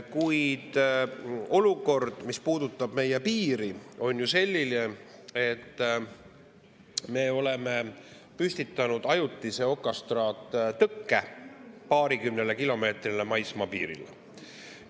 Kuid olukord, mis puudutab meie piiri, on ju selline, et me oleme püstitanud ajutise okastraattõkke paarikümnele kilomeetrile maismaapiirile.